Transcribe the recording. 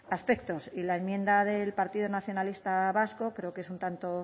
aspectos y la enmienda del partido nacionalista vasco creo que es un tanto